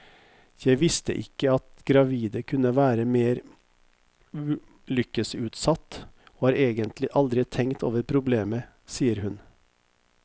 Jeg visste ikke at gravide kunne være mer ulykkesutsatt, og har egentlig aldri tenkt over problemet, sier hun.